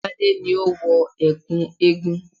Gbadé ni ó wọ ẹ̀kú eégún